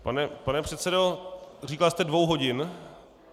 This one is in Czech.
Pane předsedo, říkal jste dvou hodin?